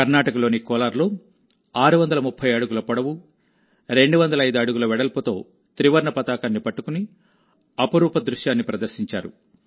కర్ణాటకలోని కోలార్లో 630 అడుగుల పొడవు 205 అడుగుల వెడల్పుతో త్రివర్ణ పతాకాన్ని పట్టుకుని అపురూప దృశ్యాన్ని ప్రదర్శించారు